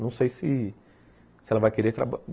Não sei se ela vai querer traba